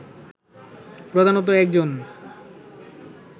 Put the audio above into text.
প্রধানত একজন